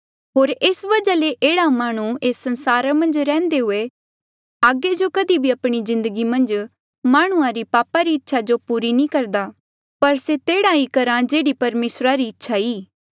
होर एस वजहा ले एह्ड़ा माह्णुं एस संसारा मन्झ रैहन्दे हुए आगे जो कधी भी आपणी जिन्दगी मन्झ माह्णुंआं री पापा री इच्छा जो पूरी नी करदा पर से तेहड़ा ही करहा जेहड़ी परमेसरा री इच्छा ई